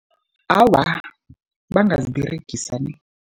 Awa, bangaziberegisa nie.